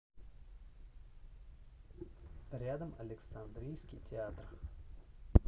рядом александринский театр